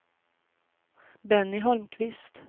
Benny Holmqvist